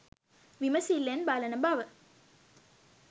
විමසිල්ලෙන් බලන බව